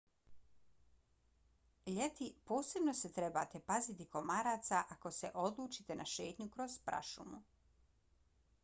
ljeti posebno se trebate paziti komaraca ako se odlučite na šetnju kroz prašumu